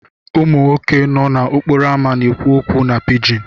Ụmụ nwoke nọ n'okporo ámá na-ekwu okwu na pijin.